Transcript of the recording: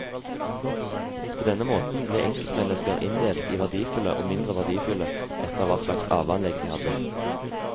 På denne måten ble enkeltmennesker inndelt i verdifulle og mindre verdifulle etter hva slags arveanlegg de hadde.